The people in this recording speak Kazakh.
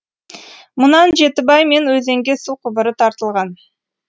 мұнан жетібай мен өзенге су құбыры тартылған